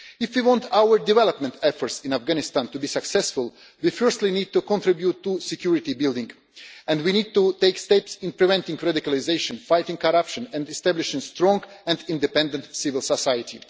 If you want our development efforts in Afghanistan to be successful we firstly need to contribute to security building and we need to take steps in preventing radicalisation, fighting corruption and establishing a strong and independent civil society.